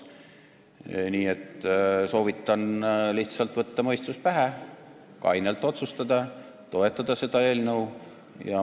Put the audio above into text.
Nii et soovitan lihtsalt võtta mõistus pähe, kainelt otsustada ja toetada seda eelnõu.